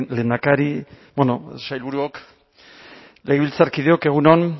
lehendakari bueno sailburuok legebiltzarkideok egun on